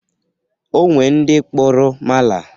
O nwere ndị kpụrụ mala.